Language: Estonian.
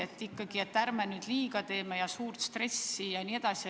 Et ärme nüüd lastele liiga teeme ega tekita suurt stressi jne.